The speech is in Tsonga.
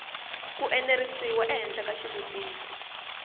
ku enerisiwa ehenhla ka xitiviso